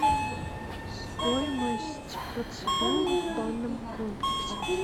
стоимость процедур в банном комплексе